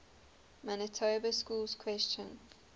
manitoba schools question